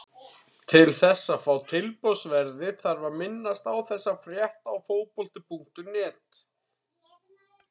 Til þess að fá tilboðsverðið þarf að minnast á þessa frétt á Fótbolti.net.